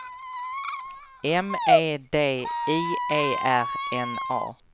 M E D I E R N A